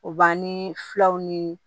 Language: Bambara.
U b'an ni fulaw ni